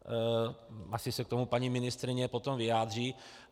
Asi se k tomu paní ministryně potom vyjádří.